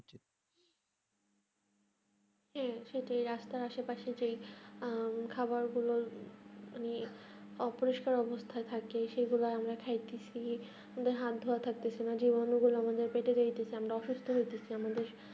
হম সেটাই রাস্তার আসে পশে যে এম খাবার গুলো অপরিষ্কার অবস্থায় থাকে সেগুলো আমরা খেয়ে আমাদের হাত ধোয়া আমরা অসুস্থ হয়ে পরছি